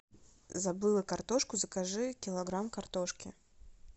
забыла картошку закажи килограмм картошки